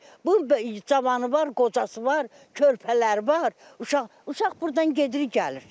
Bunun cavanı var, qocası var, körpələri var, uşaq, uşaq burdan gedir, gəlir.